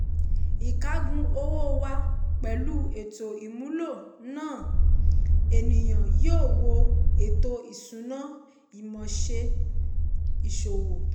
ìkágun owó wá pẹ̀lú ètò ìmúlò náà ènìyàn yóò wo ètò ìṣúná-ìmọ̀ ṣe ìṣòwò.